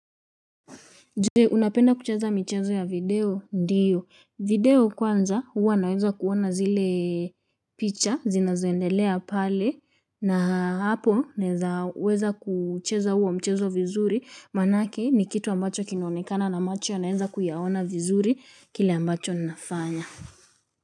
Je unapenda kucheza michezo ya video ndiyo. Video kwanza huwa naeza kuona zile picha zinazoendelea pale na hapo naeza weza kucheza huo mchezo vizuri manake ni kitu ambacho kinaonekana na macho naeza kuyaona vizuri kile ambacho nafanya.